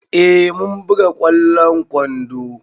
Eh mun buga ƙwallon kwando.